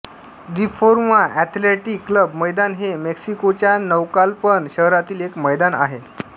Reforma athletic club मैदान हे मेक्सिकोच्या नौकालपन शहरातील एक मैदान आहे